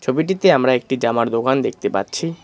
ছবিটিতে আমরা একটি জামার দোকান দেখতে পাচ্ছি।